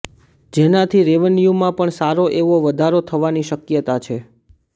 જેનાથી રેવન્યુમાં પણ સારો એવો વધારો થવાની શકયતા છે